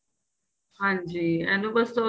ਹਾਂਜੀ ਇਹਨੂੰ ਬੱਸ ਥੋੜਾ